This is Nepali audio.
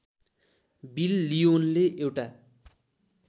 बिल लिओनले एउटा